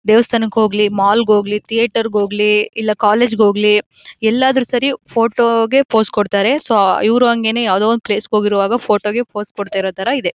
ದೇವಸ್ಥಾನಕ್ಕೆ ಹೋಗ್ಲಿ ಮಾಲ್ ಗೆ ಹೋಗ್ಲಿ ಥಿಯೇಟರ್ ಗೆ ಹೋಗ್ಲಿ ಇಲ್ಲ ಕಾಲೇಜ್ ಗೆ ಹೋಗ್ಲಿ ಎಲ್ಲಾದ್ರೂ ಸರಿ ಫೋಟೋ ಗೆ ಪೋಸ್ ಕೊಡ್ತಾರೆ ಸೊ ಇವರೂ ಹಂಗೆನೇ ಯಾವುದೊ ಒಂದು ಪ್ಲೇಸ್ ಗೆ ಹೋಗಿರುವಾಗ ಫೋಟೋ ಗೆ ಪೋಸ್ ಕೊಡ್ತಿರೋ ತರ ಇದೆ.